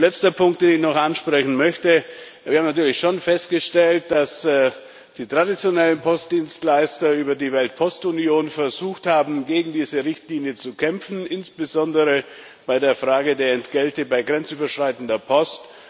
Der letzte Punkt, den ich noch ansprechen möchte Wir haben natürlich schon festgestellt, dass die traditionellen Postdienstleister über den Weltpostverein versucht haben, gegen diese Richtlinie zu kämpfen, insbesondere bei der Frage der Entgelte bei grenzüberschreitender Post.